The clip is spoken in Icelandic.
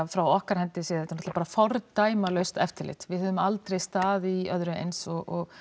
frá okkar hendi séð er þetta bara fordæmalaust eftirlit við höfum aldrei staðið í öðru eins og